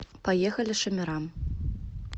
поехали шамирам